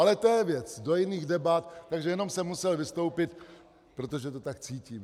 Ale to je věc do jiných debat, takže jenom jsem musel vystoupit, protože to tak cítím.